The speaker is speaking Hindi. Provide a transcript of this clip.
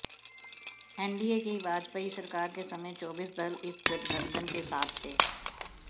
एनडीए की वाजपेयी सरकार के समय चौबीस दल इस गठबंधन के साथ थे